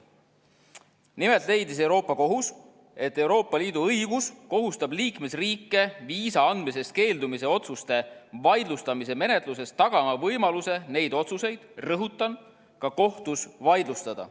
Nimelt leidis Euroopa Kohus, et Euroopa Liidu õigus kohustab liikmesriike viisa andmisest keeldumise otsuste vaidlustamise menetluses tagama võimaluse neid otsuseid – rõhutan – ka kohtus vaidlustada.